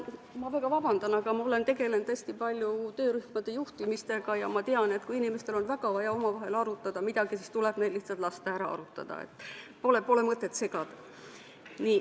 Ma väga vabandan, aga ma olen tegelenud hästi palju töörühmade juhtimisega ja ma tean, et kui inimestel on väga vaja omavahel midagi arutada, siis tuleb neil lihtsalt lasta ära arutada, pole mõtet segada.